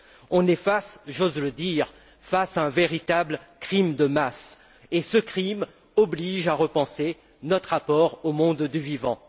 On est face, j'ose le dire, à un véritable crime de masse et ce crime oblige à repenser notre apport au monde du vivant.